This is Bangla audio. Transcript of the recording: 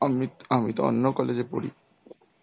আম~ আমি তো অন্য college এ পরি.